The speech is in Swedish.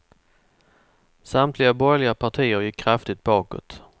Samtliga borgerliga partier gick kraftigt bakåt.